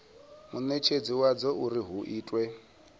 munetshedzi wadzo uri hu itwe